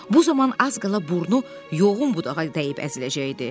Bu zaman az qala burnu yoğun budağa dəyib əziləcəkdi.